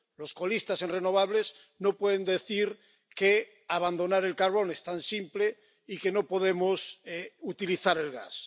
Los colistas en renovables no pueden decir que abandonar el carbón es tan simple y que no podemos utilizar el gas.